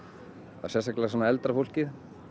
að sérstaklega eldra fólkið